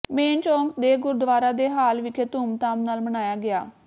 main ਚੌਂਕ ਦੇ ਗੁਰਦੁਆਰਾ ਦੇ ਹਾਲ ਵਿਖੇ ਧੂਮ ਧਾਮ ਨਾਲ ਮਨਾਇਆ ਗਿਆ